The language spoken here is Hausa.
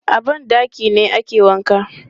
A ban ɗaki ne ake wanka.